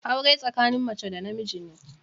Aure tsakanin mace da na miji ne.